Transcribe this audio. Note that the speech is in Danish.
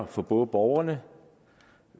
for både borgerne